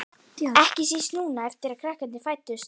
Ekki síst núna eftir að krakkarnir fæddust.